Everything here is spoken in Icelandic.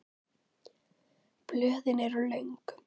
Blöðin eru löng.